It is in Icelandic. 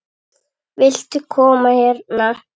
Viltu koma hérna?